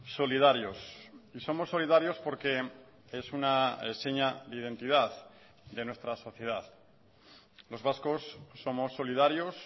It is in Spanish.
solidarios somos solidarios porque es una seña de identidad de nuestra sociedad los vascos somos solidarios